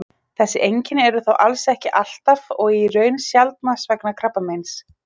Þessi einkenni eru þó alls ekki alltaf og í raun sjaldnast vegna krabbameins.